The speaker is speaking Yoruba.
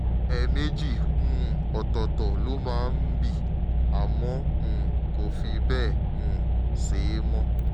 ẹ̀ẹ̀mejì um ọ̀tọ̀ọ̀tọ̀ ló máa ń ń bì àmọ́ um kò fi bẹ́ẹ̀ um ṣe é mọ́